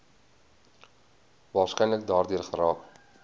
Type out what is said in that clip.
waarskynlik daardeur geraak